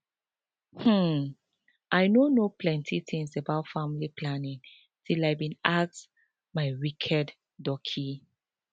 hmm i no know plenty things about family planning till i bin ask my wicked doci